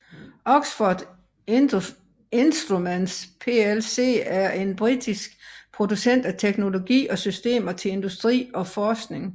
Oxford Instruments plc er en britisk producent af teknologi og systemer til industri og forskning